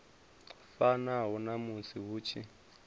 fanaho na musi hu tshi